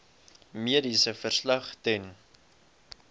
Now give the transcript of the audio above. mediese verslag ten